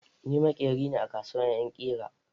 Ni maƙeri ne a kasuwar yan ƙira